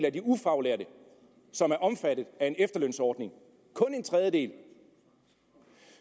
af de ufaglærte som er omfattet af en efterlønsordning kun en tredjedel